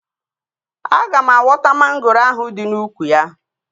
Aga m awọta mangoro ahụ dị n'úkwù ya